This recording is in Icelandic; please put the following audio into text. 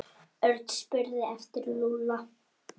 Örn spurði eftir Lúlla.